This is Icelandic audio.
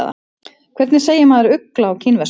Hvernig segir maður ugla á kínversku?